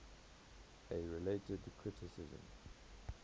a related criticism